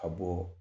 Ka bɔ